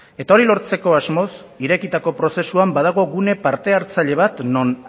eta hori lortzeko asmoz irekitako prozesuan badago gune parte hartzaile bat non